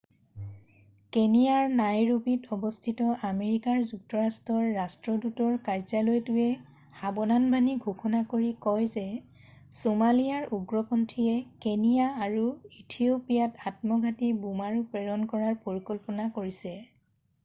"কেনিয়াৰ নাইৰোবিত অৱস্থিত আমেৰিকা যুক্তৰাষ্ট্ৰৰ ৰাষ্ট্ৰদূতৰ কাৰ্যালয়টোৱে সাবধানবাণী ঘোষণা কৰি কয় যে "ছোমালিয়াৰ উগ্ৰপন্থী""য়ে কেনিয়া আৰু ইথিঅ'পিয়াত আত্মঘাতী বোমাৰু প্ৰেৰণ কৰাৰ পৰিকল্পনা কৰিছে। "